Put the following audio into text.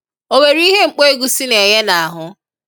O nwere ihe mkpo egusi na-enye n'ahụ?